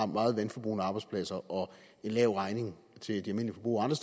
meget vandforbrugende arbejdspladser og en lav regning til de almindelige forbrugere andre